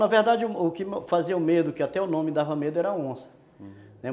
Na verdade, o que fazia o medo, que até o nome dava medo, era onça. Ah...